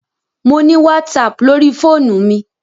Mo ni WhatsApp lórí fóònù mi.